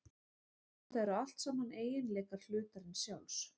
Þetta eru allt saman eiginleikar hlutarins sjálfs.